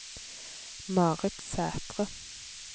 Marit Sætre